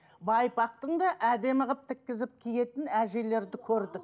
байпақтың да әдемі қылып тіккізіп киетін әжелерді көрдік